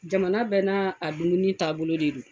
Jamana bɛ n'a a dumuni taabolo de don